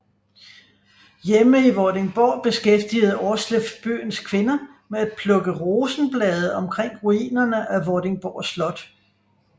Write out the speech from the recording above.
Hjemme i Vordingborg beskæftigede Aarsleff byens kvinder med at plukke rosenblade omkring ruinerne af Vordingborg Slot